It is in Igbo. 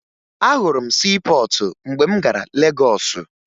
Ahụrụ m siipọọtụ mgbe m gara Legọọsụ